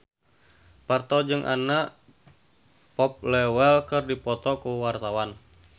Parto jeung Anna Popplewell keur dipoto ku wartawan